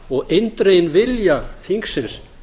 og eindreginn vilja þingsins